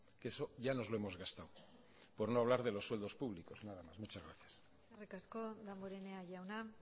que eso ya nos lo hemos gastado por no hablar de los sueldos públicos nada más muchas gracias eskerrik asko damborenea jauna